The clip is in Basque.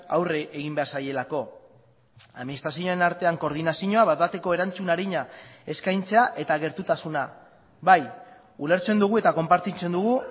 aurre egin behar zaielako administrazioen artean koordinazioa bat bateko erantzun arina eskaintzea eta gertutasuna bai ulertzen dugu eta konpartitzen dugu